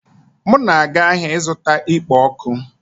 M na-aga ahịa ịzụta ikpo ọkụ